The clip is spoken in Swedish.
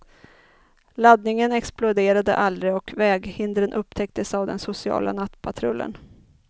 Laddningen exploderade aldrig och väghindren upptäcktes av den sociala nattpatrullen.